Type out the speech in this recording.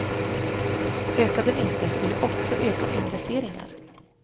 Ökade vinster skulle också öka investeringar.